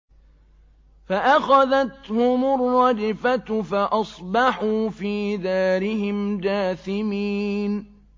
فَأَخَذَتْهُمُ الرَّجْفَةُ فَأَصْبَحُوا فِي دَارِهِمْ جَاثِمِينَ